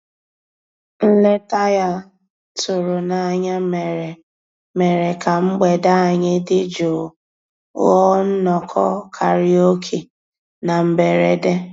Nlétà ya tụ̀rù n'ányá mèrè mèrè kà mgbede ànyị́ dị́ jụ́ụ́ ghọ́ọ́ nnọ́kọ́ kàráòké na mbèredè.